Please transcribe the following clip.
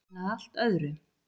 En að allt öðru.